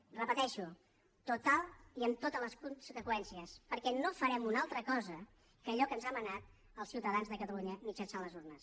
ho repeteixo totals i amb totes les conseqüències perquè no farem una altra cosa que allò que ens han manat els ciutadans de catalunya mitjançant les urnes